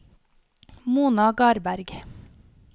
Mona Garberg